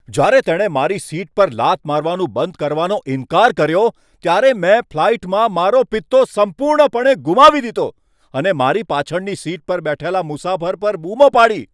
જ્યારે તેણે મારી સીટ પર લાત મારવાનું બંધ કરવાનો ઈન્કાર કર્યો ત્યારે મેં ફ્લાઈટમાં મારો પિત્તો સંપૂર્ણપણે ગુમાવી દીધો અને મારી પાછળની સીટ પર બેઠેલા મુસાફર પર બૂમો પાડી.